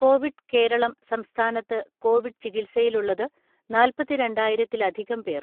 Covid Kerala സംസ്ഥാനത്ത് Covid ചികിത്സയിലുള്ളത് നാല്പത്തിരണ്ടായിരത്തിലധികം പേർ.